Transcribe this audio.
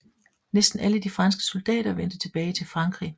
Næsten alle de franske soldater vendte tilbage til Frankrig